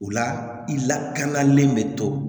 O la i lakanalen bɛ to